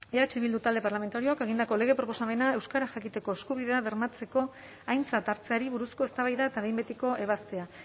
eh bildu talde parlamentarioak egindako lege proposamena euskara jakiteko eskubidea bermatzeko aintzat hartzeari buruzko eztabaida eta behin betiko ebazpena